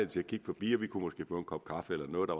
til at kigge forbi og vi kunne måske få en kop kaffe eller noget der